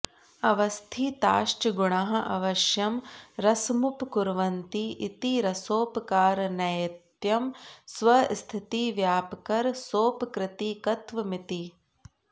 अवस्थिताश्च गुणाः अवश्यं रसमुपकुर्वन्ति इति रसोपकारनैयत्यं स्व स्थितिव्यापकरसोपकृतिकत्वमिति